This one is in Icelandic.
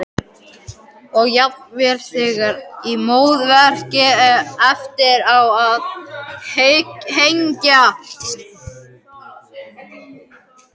Og jafnvel þegar í móðurkviði- eftir á að hyggja.